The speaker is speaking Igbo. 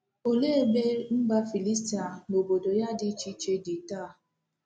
Olee ebe mba Filistia na obodo ya dị iche iche dị taa?